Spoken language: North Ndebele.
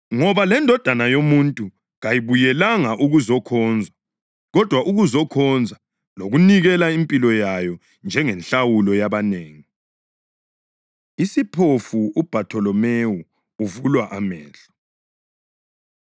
Ngoba leNdodana yoMuntu kayibuyelanga ukuzokhonzwa, kodwa ukuzokhonza lokunikela impilo yayo njengenhlawulo yabanengi.” Isiphofu UBhatholomewu Uvulwa Amehlo